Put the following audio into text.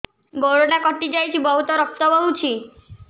ଗୋଡ଼ଟା କଟି ଯାଇଛି ବହୁତ ରକ୍ତ ବହୁଛି